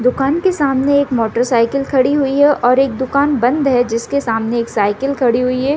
दुकान के सामने एक मोटरसाइकिल खड़ी हुई है और एक दुकान बंद है जिसके सामने एक साइकिल खड़ी हुई है।